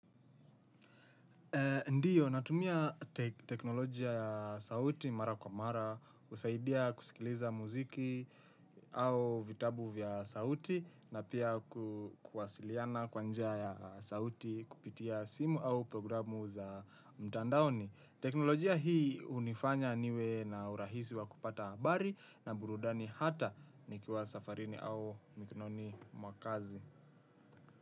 Ndiyo, natumia teknolojia ya sauti mara kwa mara, husaidia kusikiliza muziki au vitabu vya sauti na pia kuwasiliana kwa njia ya sauti kupitia simu au programu za mtandaoni. Teknolojia hii hunifanya niwe na urahisi wa kupata habari na burudani hata nikiwa safarini au mikononi mwa kazi.